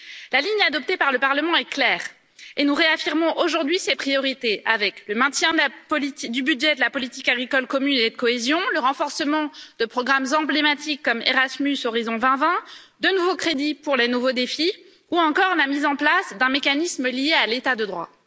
La ligne adoptée par le Parlement est claire et nous réaffirmons aujourd'hui ses priorités avec le maintien du budget de la politique agricole commune et de cohésion, le renforcement de programmes emblématiques comme Erasmus ou Horizon 2020, de nouveaux crédits pour les nouveaux défis ou encore la mise en place d'un mécanisme lié à l'état de droit.